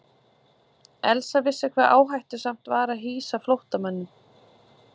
Elsa vissi hve áhættusamt var að hýsa flóttamanninn.